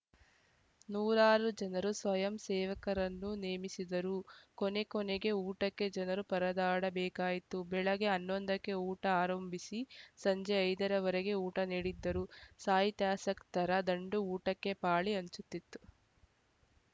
ನೂರಾರು ಜನರು ಸ್ವಯಂ ಸೇವಕರನ್ನು ನೇಮಿಸಿದರೂ ಕೊನೆ ಕೊನೆಗೆ ಊಟಕ್ಕೆ ಜನರು ಪರದಾಡಬೇಕಾಯಿತು ಬೆಳಿಗ್ಗೆ ಹನ್ನೊಂದಕ್ಕೆ ಊಟ ಆರಂಭಿಸಿ ಸಂಜೆ ಐದ ರ ವರೆಗೆ ಊಟ ನೀಡಿದ್ದರೂ ಸಾಹಿತ್ಯಾಸಕ್ತರ ದಂಡು ಊಟಕ್ಕೆ ಪಾಳಿ ಹಚ್ಚುತ್ತಿತ್ತು